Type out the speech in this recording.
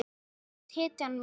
Mamma þú ert hetjan mín.